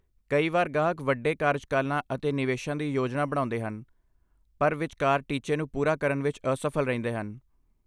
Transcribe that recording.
ਕਈ ਵਾਰ ਗਾਹਕ ਵੱਡੇ ਕਾਰਜਕਾਲਾਂ ਅਤੇ ਨਿਵੇਸ਼ਾਂ ਦੀ ਯੋਜਨਾ ਬਣਾਉਂਦੇ ਹਨ ਪਰ ਵਿਚਕਾਰ ਟੀਚੇ ਨੂੰ ਪੂਰਾ ਕਰਨ ਵਿੱਚ ਅਸਫਲ ਰਹਿੰਦੇ ਹਨ।